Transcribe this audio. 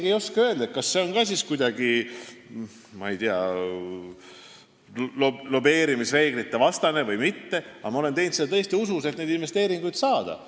Ma ei oska öelda, kas see on kuidagi lobireeglitevastane tegevus või mitte, aga ma olen seda tõesti teinud heas usus, et neid investeeringuid saada.